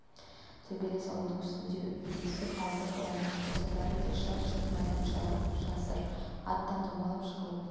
төбелес ауылдың үстінде есік алды қораның ортасы бәрінде де шарт-шұрт майдан жүріп жатыр аттан домалап жығылып